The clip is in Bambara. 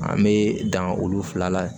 An bɛ dan olu fila la